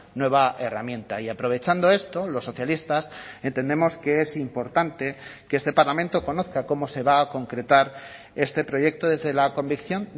nueva herramienta y aprovechando esto los socialistas entendemos que es importante que este parlamento conozca cómo se va a concretar este proyecto desde la convicción